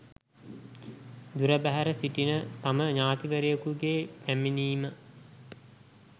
දුරබැහැර සිටින තම ඥාතිවරයකුගේ පැමිණීම